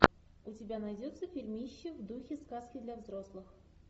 у тебя найдется фильмище в духе сказки для взрослых